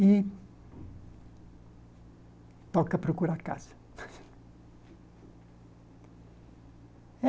E toca procurar casa.